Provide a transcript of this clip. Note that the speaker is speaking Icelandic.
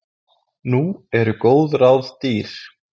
Nú eru góð ráð dýr!